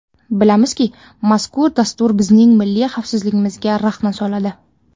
Bilamizki, mazkur dastur bizning milliy xavfsizligimizga raxna soladi.